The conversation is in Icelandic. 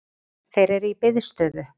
Þeir eru í biðstöðu